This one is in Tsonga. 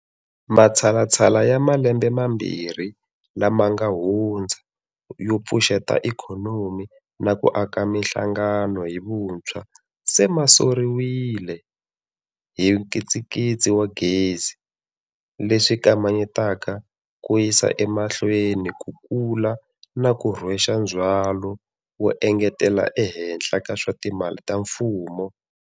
Matshalatshala ya malembe mambirhi lama nga hundza yo pfuxeta ikhonomi na ku aka mihlangano hi vuntshwa se ma soriwile hi nkitsinkitsi wa gezi, leswi kamanyetaka ku yisa emahlweni ku kula na ku rhwexa ndzhwalo wo engetela ehenhla ka swa timali ta mfumo.